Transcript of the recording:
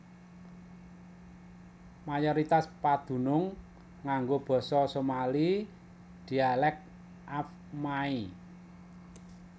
Mayoritas padunung nganggo basa Somali dhialek Afmaay